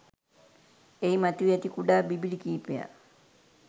එහි මතුවී ඇති කුඩා බිබිළි කිහිපයක්